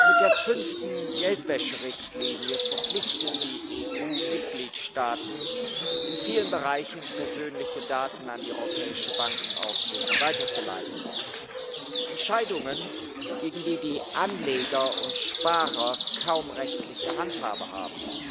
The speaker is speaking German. Mit der fünften Geldwäscherichtlinie verpflichtet die EU die Mitgliedstaaten, in vielen Bereichen persönliche Daten an die Europäische Bankenaufsicht weiterzuleiten Entscheidungen, gegen die die Anleger und Sparer kaum rechtliche Handhabe haben.